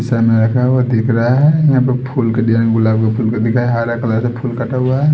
शीशा मे रखा हुआ दिख रहा है यहां पे फूल का डिजाइन गुलाब के फूल का दिखा है हरा कलर का फूल कटा हुआ है।